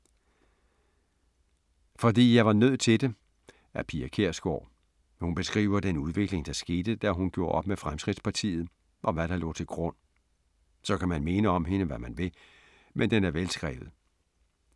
Fordi jeg var nødt til det af Pia Kjærsgaard. Hun beskriver den udvikling, der skete, da hun gjorde op med Fremskridtspartiet og hvad, der lå til grund. Så kan man mene om hende, hvad man vil, men den er velskrevet.